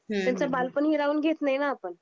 हम्म हम्म हम्म त्यांच बालपण हिरावून घेत नाही ना आपण